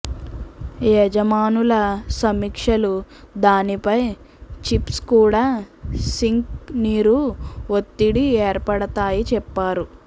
యజమానుల సమీక్షలు దానిపై చిప్స్ కూడా సింక్ నీరు ఒత్తిడి ఏర్పడతాయి చెప్తారు